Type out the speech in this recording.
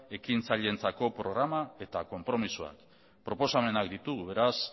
ekintzaileentzako programa eta konpromisoa proposamenak ditugu beraz